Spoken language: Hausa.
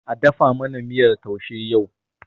A dafa mana miyar taushe yau.!